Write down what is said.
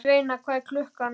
Sveina, hvað er klukkan?